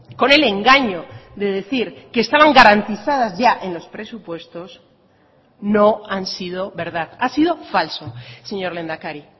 con el engaño de decir que estaban garantizadas ya en los presupuestos no han sido verdad ha sido falso señor lehendakari